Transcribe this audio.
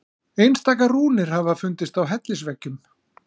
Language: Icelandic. Einstaka rúnir hafa fundist á hellisveggjum.